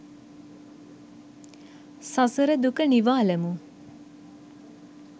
සසර දුක නිවාලමු.